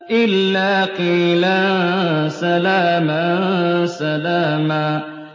إِلَّا قِيلًا سَلَامًا سَلَامًا